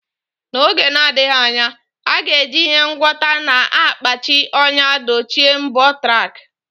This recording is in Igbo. N’oge na-adịghị anya, a ga-eji ihe ngwọta na-akpachi anya dochie mbọ tack.